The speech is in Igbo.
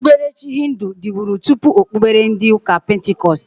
Okpuberechi hịndụ diburi tụpụ okpubere ndi uka pentikọst.